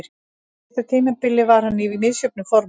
Á síðasta tímabili var hann í misjöfnu formi.